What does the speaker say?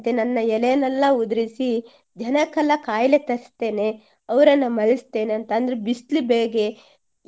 ನನ್ನ ಎಲೆಯನ್ನೆಲ್ಲ ಉದಿರಿಸಿ ಜನಕೆಲ್ಲ ಕಾಯ್ಲೇ ತರ್ಸ್ತೀನೆ ಅವರನ್ನ ಮರಿಸ್ತೀನೆ ಅಂತ ಅಂದ್ರೆ ಬಿಸ್ಲು ಬೇಗೆ